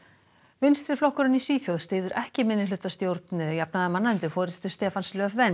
vinstri flokkurinn í Svíþjóð styður ekki minnihlutastjórn jafnaðarmanna undir forystu Stefans